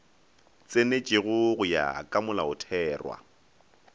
tsenetšwego go ya ka molaotherwa